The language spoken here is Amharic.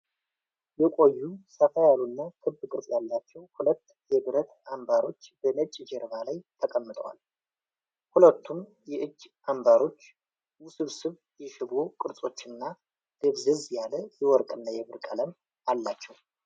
የቆዩ፣ ሰፋ ያሉና ክብ ቅርጽ ያላቸው ሁለት የብረት አምባሮች በነጭ ጀርባ ላይ ተቀምጠዋል። ሁለቱም የእጅ አምባሮች ውስብስብ የሽቦ ቅርጾችና፣ ደብዘዝ ያለ የወርቅና የብር ቀለም አላቸው።